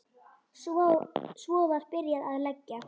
Svo var byrjað að leggja.